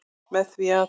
Með því að.